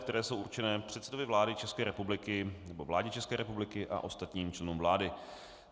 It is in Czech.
které jsou určeny předsedovi vlády České republiky nebo vládě České republiky a ostatním členům vlády.